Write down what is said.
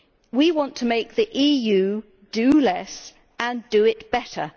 We want to make the EU do less and do it better.